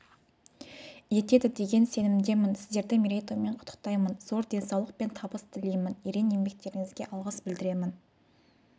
етеді деген сенімдемін сіздерді мерейтоймен құттықтаймын зор денсаулық пен табыс тілеймін ерен еңбектеріңізге алғыс білдіремін